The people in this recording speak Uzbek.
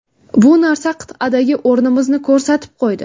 Bu narsa qit’adagi o‘rnimizni ko‘rsatib qo‘ydi.